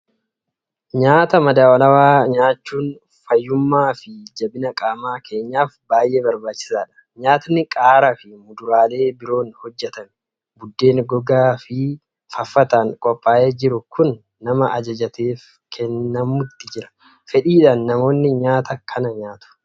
Nyaata madaalawaa nyaachuun fayyummaa fi jabina qaama keenyaaf baay'ee barbaachisaadha! Nyaatni qaaraa fi muduraalee biroon hojjetamee, buddeen gogaa fi faffataan qophaa'ee jiru kun nama ajajateef kennamuutti jira. Fedhiidhaan namoonni nyaata kana nyaatu.